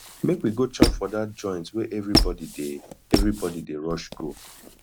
make we go chop for dat joint wey everybodi dey everybodi dey rush go